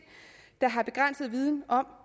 der har begrænset viden om